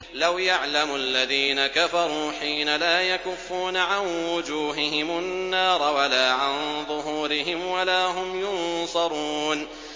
لَوْ يَعْلَمُ الَّذِينَ كَفَرُوا حِينَ لَا يَكُفُّونَ عَن وُجُوهِهِمُ النَّارَ وَلَا عَن ظُهُورِهِمْ وَلَا هُمْ يُنصَرُونَ